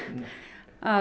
að